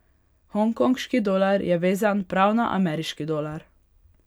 Hongkonški dolar je vezan prav na ameriški dolar.